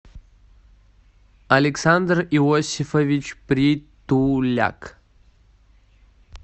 александр иосифович притуляк